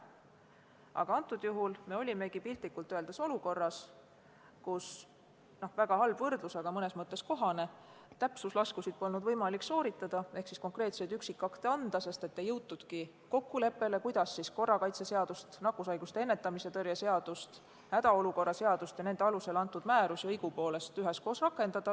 Aga antud juhul me olimegi piltlikult öeldes olukorras, kus – see on väga halb võrdlus, aga mõnes mõttes kohane – täpsuslaskusid polnud võimalik sooritada ehk konkreetseid üksikakte anda, sest ei jõutudki kokkuleppele, kuidas korrakaitseseadust, nakkushaiguste ennetamise ja tõrje seadust, hädaolukorra seadust ja nende alusel antud määrusi õigupoolest üheskoos rakendada.